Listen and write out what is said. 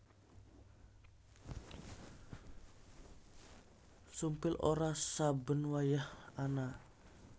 Sumpil ora saben wayah ana